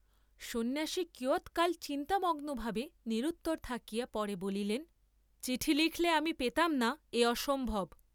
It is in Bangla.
সন্ন্যাসী কিয়ৎকাল চিন্তামগ্ন ভাবে নিরুত্তর থাকিয়া পরে বলিলেন চিঠি লিখলে আমি পেতাম না এ অসম্ভব!